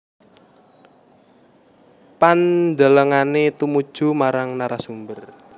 Pandelengane tumuju marang narasumber